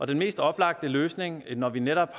den mest oplagte løsning når vi netop